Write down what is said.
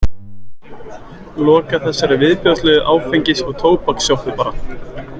Loka þessari viðbjóðslegu áfengis- og tóbakssjoppu bara.